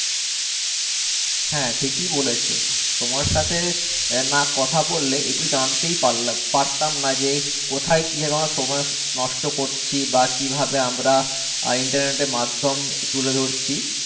হ্যাঁ ঠিকই বলেছো তোমার সাথে না কথা বললে এগুলো জানলে জানতে পারলাম পারতাম না যে কোথায় কিভাবে অমরা সময় নষ্ট নষ্ট করছি বা কিভাবে আমরা আর আহ Internet মাধ্যম তুলে ধরছি।